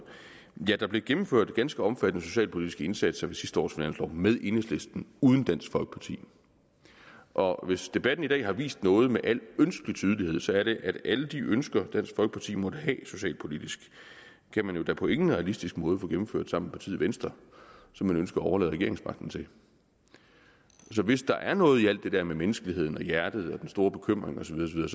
der blev gennemført ganske omfattende socialpolitiske indsatser ved sidste års finanslov med enhedslisten uden dansk folkeparti og hvis debatten i dag har vist noget med al ønskelig tydelighed er det at alle de ønsker dansk folkeparti måtte have socialpolitisk kan man jo da på ingen realistisk måde få gennemført sammen med partiet venstre som man ønsker at overlade regeringsmagten til så hvis der er noget i alt det der med menneskeligheden og hjertet og den store bekymring og så videre